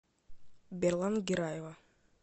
берлант гираева